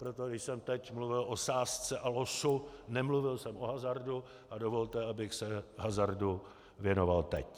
Proto když jsem teď mluvil o sázce a losu, nemluvil jsem o hazardu a dovolte, abych se hazardu věnoval teď.